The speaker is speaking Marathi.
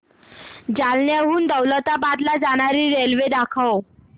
जालन्याहून दौलताबाद ला जाणारी रेल्वे दाखव